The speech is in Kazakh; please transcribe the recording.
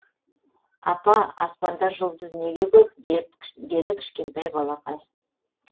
апа аспанда жұлдыз неге көп деді кішкентай балақай